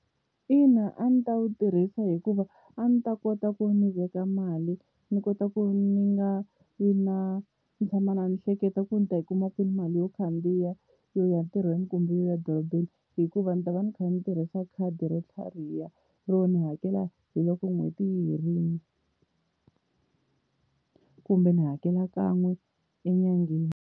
Ina a ndzi ta wu tirhisa hikuva a ndzi ta kota ku ndzi veka mali ni kota ku ni nga yi na ni tshama ni kha ni hleketa ku ni ta yi kuma kwihi mali yo khandziya yo ya ntirhweni kumbe yo ya dorobeni, hikuva ndzi ta va ni kha ni tirhisa khadi ra tlhariha ro ni hakela hi loko n'hweti yi herile, kumbe ni hakela kan'we enyangeni.